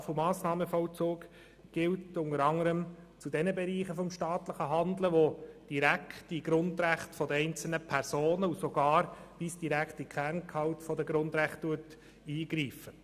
Straf- und Massnahmenvollzug gilt unter anderem zu denjenigen Bereichen staatlichen Handelns, die direkt in die Grundrechte einzelner Personen und sogar bis direkt in den Kerngehalt der Grundrechte eingreifen.